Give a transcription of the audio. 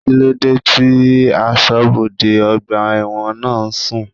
Kíló dé tí asọ́bodè ọgbà ẹ̀wọ̀n náà ń sùn?